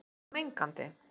En er þetta mengandi?